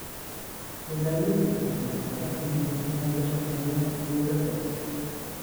Beeraleydu waxay u baahan yihiin inay la shaqeeyaan dawladda.